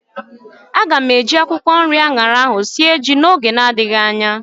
Aga m eji akwụkwọ nri anyara ahu sie ji oge na adịghị anya